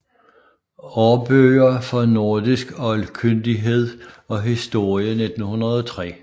Aarbøger for nordisk Oldkyndighed og Historie 1903